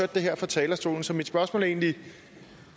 det her fra talerstolen så mit spørgsmål er egentlig